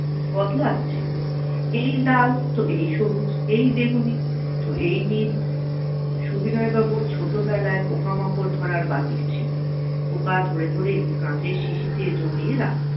বদলাছে এই লাল তো এই সবুজ এই বেগুনি তো এই নীল সুবিনয় বাবুর ছোট বেলায় পোকামাকড় ধরার বাতিল ছিল পোকা ধরে ধরে কাঁচের শিশিতে জমিয়ে রাখতেন